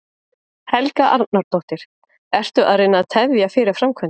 Helga Arnardóttir: Ertu að reyna að tefja fyrir framkvæmdum?